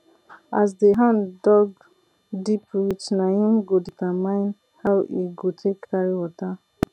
as de hand dug deep reach nah im go determine how e go take carry water